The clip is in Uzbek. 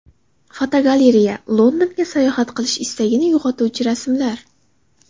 Fotogalereya: Londonga sayohat qilish istagini uyg‘otuvchi rasmlar.